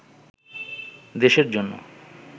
দেশের জন্য